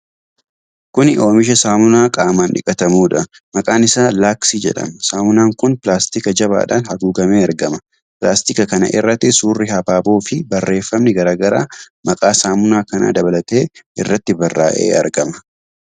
Kuni oomisha saamunaa qaamaan dhiqatamuudha. Maqaan isaa Laaksii jedhama. Saamunaan kun pilaastika jabaadhaan haguugamee argama. Pilaastika kana irratti suurri habaaboo fi barreefami garaa garaa, maqaa saamunaa kanaa dabalatee irratti barraa'ee argama.